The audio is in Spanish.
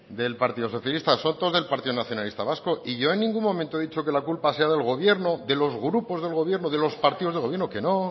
del partido socialista son todos del partido nacionalista vasco y yo en ningún momento he dicho que la culpa sea del gobierno de los grupos del gobierno de los partidos de gobierno que no